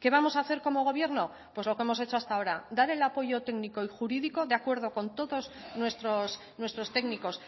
qué vamos a hacer como gobierno pues lo que hemos hecho hasta ahora dar el apoyo técnico y jurídico de acuerdo con todos nuestros técnicos